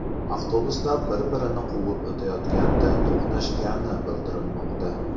Avtobuslar bir-birini quvib o‘tayotganda to‘qnashgani bildirilmoqda.